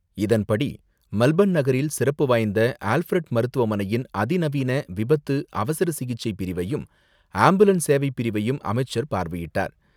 இதன்படி, மெல்பர்ன் நகரில் சிறப்பு வாய்ந்த ஆல்ஃபிரட் மருத்துவமனையின் அதிநவீன விபத்து, அவசர சிகிச்சை பிரிவையும், ஆம்புலன்ஸ் சேவை பிரிவையும் அமைச்சர் பார்வையிட்டார்.